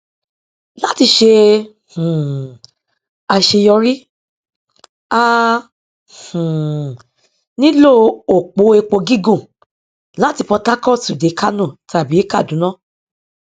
láti ṣe um àṣeyọrí a um nílò òpó epo gígùn láti port harcourt dé kánò tàbí kàdúná